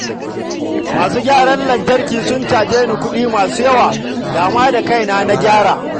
Masu gyaran lantarki sun caje ni ƙudi masu yawa, da ma da kaina na gyara